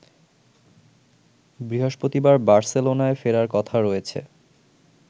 বৃহস্পতিবার বার্সেলোনায় ফেরার কথা রয়েছে